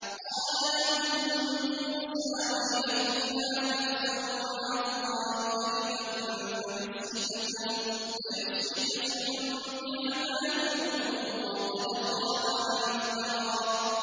قَالَ لَهُم مُّوسَىٰ وَيْلَكُمْ لَا تَفْتَرُوا عَلَى اللَّهِ كَذِبًا فَيُسْحِتَكُم بِعَذَابٍ ۖ وَقَدْ خَابَ مَنِ افْتَرَىٰ